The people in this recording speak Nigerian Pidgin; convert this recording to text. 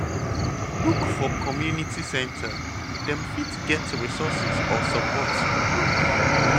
Look for community center, dem fit get resources or support groups